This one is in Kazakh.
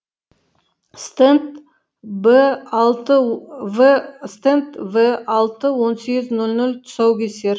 стенд б алты в стенд в алты он сегіз нөл нөл тұсаукесер